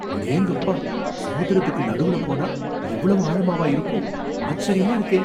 அடேங்கப்பா! சமுத்திரத்துக்கு நடுவுல போனா இவ்வளவு ஆழமாவா இருக்கும்? ஆச்சரியமா இருக்கே!